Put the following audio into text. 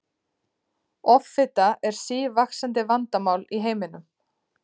Offita er sívaxandi vandamál í heiminum.